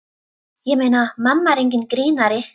Ég meina, mamma er enginn grínari.